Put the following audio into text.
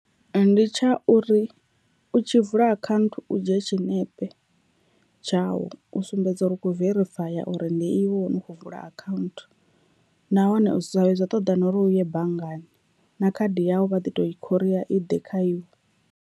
Ndi tsha uri u tshi vula akhaunthu u dzhia tshiṋepe tshawu u sumbedza uri u kho verifaya uri ndi iwe wane u khou vula akhaunthu nahone zwi sa vhuye zwa ṱoḓa na uri u ye banngani na khadi yawu vha ḓi to i khoria i ḓe kha iwe.